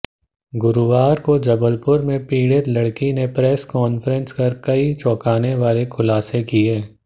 गुरुवार को जबलपुर में पीड़ित लड़की ने प्रेस कॉंफ्रेंस कर कई चौंकाने वाले खुलासे किए